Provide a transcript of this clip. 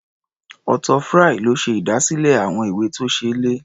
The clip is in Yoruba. Arthur Fry ló ṣe ìdásílẹ̀ ìwé-tó-ṣeé-lẹ̀.